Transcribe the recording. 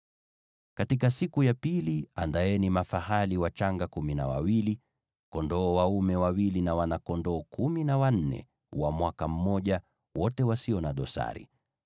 “ ‘Katika siku ya pili andaeni mafahali wachanga kumi na wawili, kondoo dume wawili, na wana-kondoo kumi na wanne wa mwaka mmoja, wote wasio na dosari.